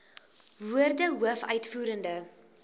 woorde hoof uitvoerende